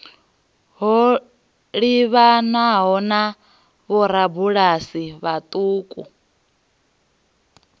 ho livhanaho na vhorabulasi vhauku